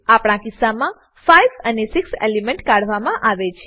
આપણા કિસ્સામા 5 અને 6 એલિમેન્ટ કાઢવામા આવે છે